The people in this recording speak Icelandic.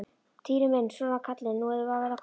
Týri minn, svona kallinn, nú erum við að verða komin.